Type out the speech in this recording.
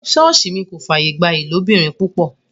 Ṣọọṣi mi kò fàyè gba ìlóbìrin-pupọ.